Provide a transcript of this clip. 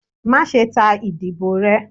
Maṣe ta idibo rẹ!